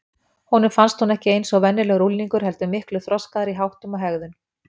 Honum fannst hún ekki eins og venjulegur unglingur heldur miklu þroskaðri í háttum og hegðun.